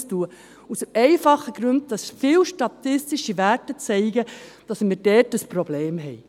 Dies aus dem einfachen Grund, dass viele statistische Werte zeigen, dass wir dort ein Problem haben.